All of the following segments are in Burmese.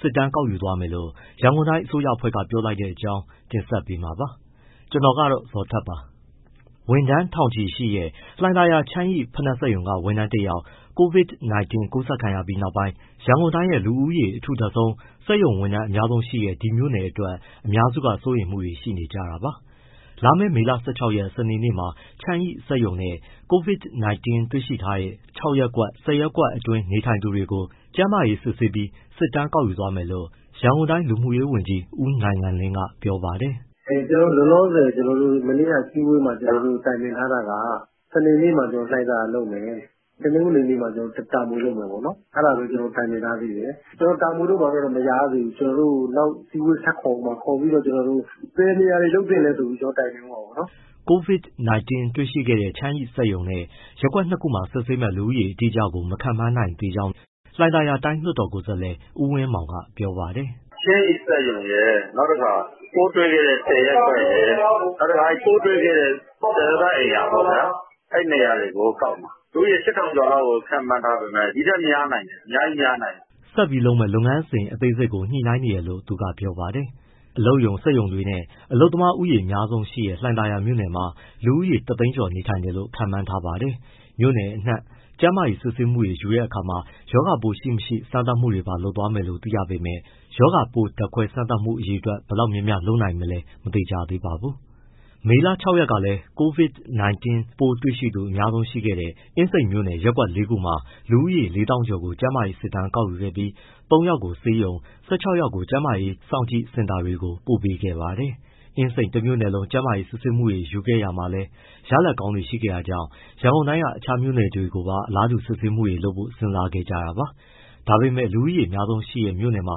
စစ်တမ်းကောက်ယူသွားမယ်လို့ ရန်ကုန်တိုင်း အစိုးရအဖွဲ့က ပြောလိုက်တဲ့အကြောင်းကို ဗွီအိုအေမြန်မာပိုင်း သတင်းထောက် ကိုဇော်ထက်က တင်ပြပေးပါမယ်။ ဝန်ထမ်းထောင်ချီရှိတဲ့ လှိုင်သာယာ ချန်းရိဖိနပ်စက်ရုံက ဝန်ထမ်းတယောက် COVID-19 ကူးစက်ခံရပြီးနောက်ပိုင်း ရန်ကုန်တိုင်းရဲ့ လူဦးရေအထူထပ်ဆုံး စက်ရုံဝန်ထမ်း အများဆုံးရှိတဲ့ ဒီမြို့နယ်အတွက် အများစုက စိုးရိမ်မှုတွေ ရှိနေကြတာပါ။ လာမယ့် မေလ ၁၆ ရက် စနေနေ့မှာ ချန်းရိစက်ရုံနဲ့ COVID-19 တွေရှိထားတဲ့ ၆ ရပ်ကွက်၊ ၁၀ ရပ်ကွက်အတွင်းနေထိုင်သူတွေကို ကျန်းမာရေး စစ်ဆေးပြီး ကျန်းမာရေး စစ်တမ်းကောက်ယူသွားမယ်လို့ ရန်ကုန်တိုင်း လူမှုရေးဝန်ကြီး ဦးနိုင်ငံလင်းက ပြောပါတယ်။ “လောလောဆယ် ကျနော်တို့ အစည်းအဝေးမှာ တိုင်ပင်ထားတာက စနေနေ့မှာ လှိုင်သာယာမှာလုပ်မယ်။ တနင်္ဂနွေနေ့မှာ တာမွေမှာ လုပ်မယ်ပေါ့၊ အဲဒါပဲ တိုင်ပင်ထားသေးတယ်၊ တာမွေတို့ ဘာတို့တော့ မလျာရသေးဘူး။ ကျနော်တို့ နောက်အစည်းအဝေး ထပ်ခေါ်ဦးမှာ ခေါ်ပြီးတော့ ဘယ်နေရာတွေ လုပ်သင့်လဲဆိုပြီးတော့ တိုင်ပင်ဦးမှာပေါ့နော်။” COVID-19 တွေ့ရှိခဲ့တဲ့ ချန်းရီစက်ရုံနဲ့ ရပ်ကွက် ၂ ခုမှာ စစ်ဆေးမယ့် လူဦးရေ အတိအကျကို မခန့်မှန်းနိုင်သေးကြောင်း၊ ညှိနှိုင်းမှုတွေလည်း လှိုင်သာယာ တိုင်းလွှတ်တော် ကိုယ်စားလှယ် ဦးဝင်းမောင်က ပြောပါတယ်။ “ချန်းရီစက်ရုံရယ်၊ ပိုးတွေ့ခဲ့တဲ့ ၁၀ ရပ်ကွက်ရယ်၊ ကျန်စစ်သားအိမ်ရာရယ်၊ အဲဒီနေရာတွေကို ကောက်မှာ။ လူဦးရေ ၈,၀၀၀ ကျော်လောက်ကို ခန့်မှန်းထားပေမဲ့ ဒီထက်များနိုင်တယ်၊ အများကြီးများနိုင်တယ်။” ဆက်ပြီးလုပ်မယ့် လုပ်ငန်းအသေးစိတ်ကို ညှိနှိုင်းနေတယ်လို့ သူကပြောပါတယ်။ အလုပ်ရုံစက်ရုံတွေနဲ့ အလုပ်သမားဦးရေ များပြားတဲ့ လှိုင်သာယာမြို့နယ်ထဲမှာ လူဦးရေ ၁၀၀,၀၀၀ ကျော်နေထိုင်တယ်လို့ ခန့်မှန်းထားပါတယ်။ မြို့နယ်အနှံ့ ကျန်းမာရေးစစ်ဆေးမှုတွေယူတဲ့အခါမှာ ရောဂါပိုးရှိ၊ မရှိ စမ်းသပ်မှုတွေပါ လုပ်သွားမယ်လို့ သိရပေမဲ့ ရောဂါပိုးဓါတ်ခွဲစမ်းသပ်မှုကို အရေအတွက် ဘယ်လောက်များများ လုပ်နိုင်မလဲ မသေချာသေးပါဘူး။ မေလ ၆ ရက်ကလည်း COVID-19 ပိုးတွေ့သူအများဆုံးရှိတဲ့ အင်းစိန်မြို့နယ် ရပ်ကွက် ၄ ခုမှာ လူဦးရေ ၄၀,၀၀၀ ကျော်ကို ကျန်းမာရေးစစ်တမ်း ကောက်ယူခဲ့ပြီး ၃ ယောက်ကို ဆေးရုံ၊ ၁၆ ယောက်ကို ကျန်းမာရေးစောင့်ကြည့်စင်တာတွေကို ပို့ပေးခဲ့ပါတယ်။ အင်းစိန်တမြို့နယ်လုံး ကျန်းမာရေးစစ်ဆေးမှုတွေ ယူခဲ့ရမှာ ရလဒ်ကောင်းတွေ ရှိခဲ့တာကြောင့် ရန်ကုန်တိုင်းက အခြားမြို့နယ်တွေကိုပါ အလားတူ စစ်ဆေးမှုလုပ်ဖို့ စဉ်းစားခဲ့ကြတာပါ။ ဒါပေမဲ့လည်း လူဦးရေ များပြားတဲ့မြို့နယ်တွေမှာ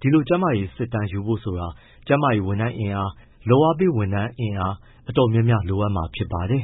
ဒီလို ကျန်းမာရေးစစ်တမ်းယူဖို့ဆိုတာ ကျန်းမာရေး ဝန်ထမ်းအင်အား လုပ်အားပေး ဝန်ထမ်းအင်အား အတော်များများ လိုအပ်မှာဖြစ်ပါတယ်